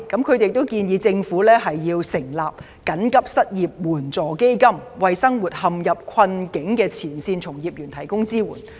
他們亦建議政府設立緊急失業救濟援助基金，為生活陷入困境的前線從業員提供支援。